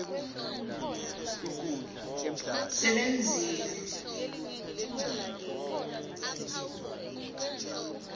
sebenzile